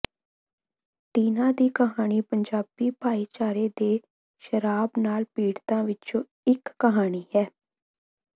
ਟੀਨਾ ਦੀ ਕਹਾਣੀ ਪੰਜਾਬੀ ਭਾਈਚਾਰੇ ਦੇ ਸ਼ਰਾਬ ਨਾਲ ਪੀੜਤਾਂ ਵਿੱਚੋਂ ਇੱਕ ਕਹਾਣੀ ਹੈ